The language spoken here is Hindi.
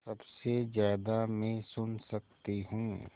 सबसे ज़्यादा मैं सुन सकती हूँ